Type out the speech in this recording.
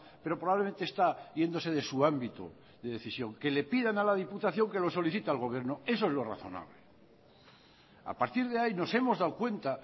pero probablemente está yéndose de su ámbito de decisión que le pidan a la diputación que lo solicita al gobierno eso es lo razonable a partir de ahí nos hemos dado cuenta